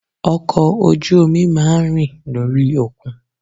Ọkọ̀ ojú omi má a ń rìn lórí òkun